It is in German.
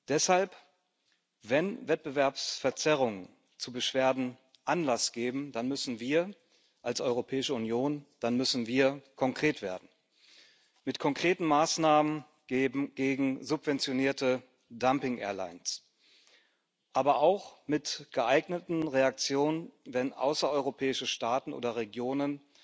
Deshalb Wenn Wettbewerbsverzerrungen zu Beschwerden Anlass geben, dann müssen wir als Europäische Union konkret werden, mit konkreten Maßnahmen gegen subventionierte Dumping Airlines, aber auch mit geeigneten Reaktionen, wenn außereuropäische Staaten oder Regionen